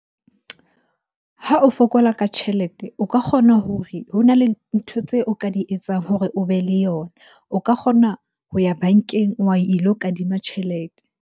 Ha o fokola ka tjhelete o ka kgona hore, ho na le ntho tseo o ka di etsang hore o be le yona. O ka kgona ho ya bankeng wa ilo kadima tjhelete.